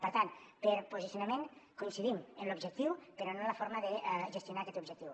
per tant per posicionament coincidim en l’objectiu però no en la forma de gestionar aquest objectiu